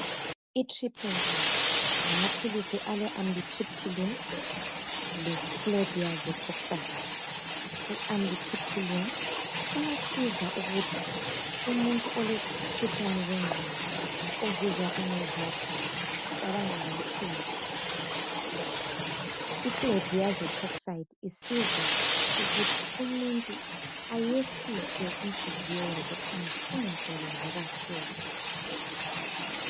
Itriptylin bhulazi ngamaphili ale Amitripyline le chlordiazepoxide , iAmitripyline iyasiza ukuthi umuntu olomkhuhlane wenqondo ozizwa ngathi ucabangakakhulu ichordiazepoxide isiza ukuthi umuntu ayehlise inhliziyo yakhe phansi engacabangi kakhulu.